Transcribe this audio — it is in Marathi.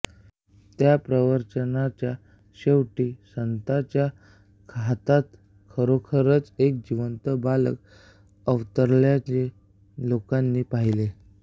त्या प्रवचनाच्या शेवटी या संताच्या हातात खरोखरच एक जिवंत बालक अवतरल्याचे लोकांनी पहिले